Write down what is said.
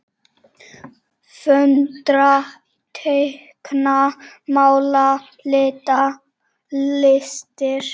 Föndra- teikna- mála- lita- listir